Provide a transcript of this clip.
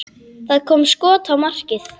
Það kom skot á markið.